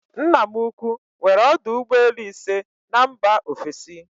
Nna m ukwu nwere ọdụ ụgbọelu ise na mba ofesi